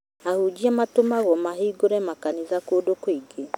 Ahunjia matũmagwo mahingũre makanitha kũndũ kũngĩ